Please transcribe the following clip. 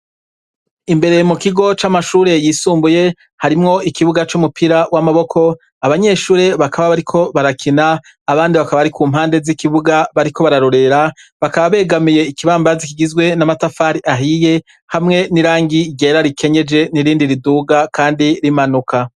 Imbere mu kigo c'amashure yisumbuye harimwo ikibuga c'umupira w'amaboko, abanyeshure bakaba bariko barakina, abandi bakaba bari ku mpande z'ikibuga bariko bararorera, bakaba begamiye ikibambazi kigizwe n'amatafari ahiye hamwe n'irangi ryera rikenyeje n'irindi riduga kandi rimanuka.